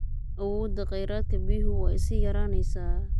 Awoodda kheyraadka biyuhu waa ay sii yaraanaysaa.